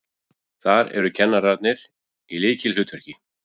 Þar eru kennarar í lykilhlutverki.